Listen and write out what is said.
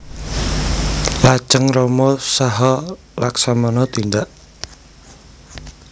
Lajeng Rama saha Laksamana tindak